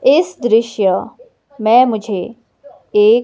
इस दृश्य में मुझे एक--